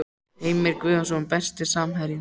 Heimir Guðjónsson Besti samherjinn?